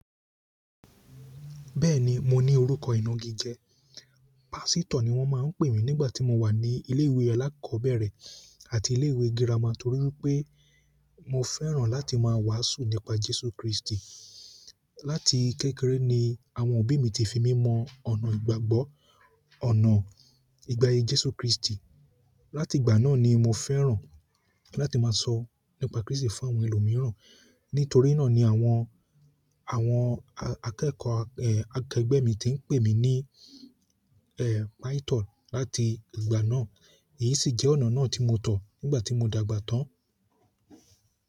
Bẹ́ẹ̀ni, mo ní orúkọ ìna gígẹ. Pásítọ̀ ni wọ́n máa ń pè mí nígbà tí mo wà ní ilé ìwé alákọ̀ọ́bẹ̀rẹ̀ àti ilé ìwé girama torí wipé mo fẹ́ràn láti máa wàásù nípa Jésù Kristi. Láti kékeré ni àwọn òbí mi ti fi mí mọ ọ̀nà ìgbàgbọ́, ọ̀nà ìgbàyè Jésù Kristi. Láti ìgbà náà ni mo fẹ́ràn láti máa sọ nípa Kristi fún àwọn ẹlòmíràn. Nítorí náà ni àwọn, àwọn akẹ́kọ̀ọ́ akẹgbẹ́ mi ti ń pè mí ní, ẹ́, pásítọ̀ láti ìgbà náà. Èyí sì jẹ́ ọ̀nà náà tí mo tọ̀ nígbà tí mo dàgbà tán.